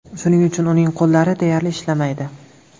Shuning uchun uning qo‘llari deyarli ishlamaydi.